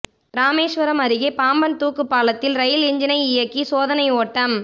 ராமேஸ்வரம் அருகே பாம்பன் தூக்குப் பாலத்தில் ரயில் என்ஜினை இயக்கி சோதனை ஓட்டம்